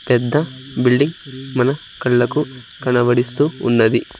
పెద్ద బిల్డింగ్ మన కళ్ళకు కనబడిస్తూ ఉన్నది.